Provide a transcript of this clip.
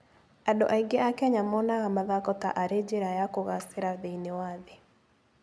Andũ aingĩ a Kenya monaga mathako ta arĩ njĩra ya kũgaacĩra thĩinĩ wa thĩ.